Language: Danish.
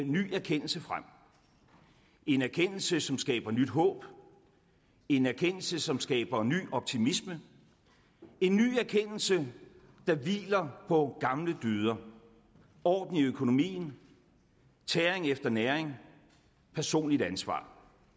ny erkendelse frem en erkendelse som skaber nyt håb en erkendelse som skaber ny optimisme en ny erkendelse der hviler på gamle dyder orden i økonomien tæring efter næring personligt ansvar